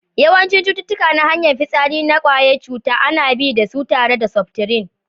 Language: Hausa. Yawancin cututtuka na hanyar fisari na kwayan cuta ana bi da su tare da septrin.